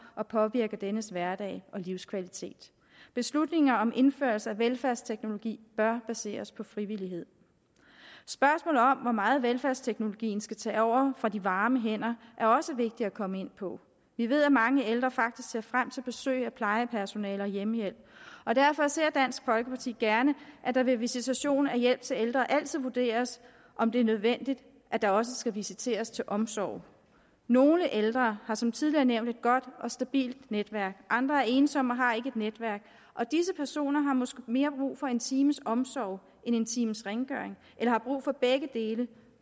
og påvirker dennes hverdag og livskvalitet beslutninger om indførelse af velfærdsteknologi bør baseres på frivillighed spørgsmålet om hvor meget velfærdsteknologien skal tage over fra de varme hænder er også vigtigt at komme ind på vi ved at mange ældre faktisk ser frem til besøg af plejepersonale og hjemmehjælp og derfor ser dansk folkeparti gerne at det ved visitation af hjælp til ældre altid vurderes om det er nødvendigt at der også skal visiteres til omsorg nogle ældre har som tidligere nævnt et godt og stabilt netværk andre er ensomme og har ikke netværk og disse personer har måske mere brug for en times omsorg end en times rengøring eller har brug for begge dele